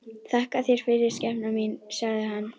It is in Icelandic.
Þakka þér fyrir, skepnan mín, sagði hann.